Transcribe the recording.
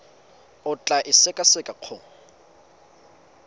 o tla e sekaseka go